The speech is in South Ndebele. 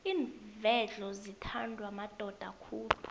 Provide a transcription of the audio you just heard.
iinvedlo zithandwa madoda khulu